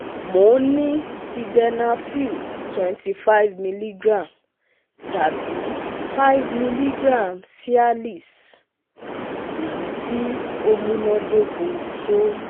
Mo n ni Sildenafil twenty five mg tabi five mg Cialis, eyiti o munadoko to